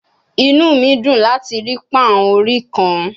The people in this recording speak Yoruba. Inu mi dun lati ri pan ori kan